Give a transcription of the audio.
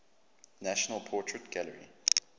national portrait gallery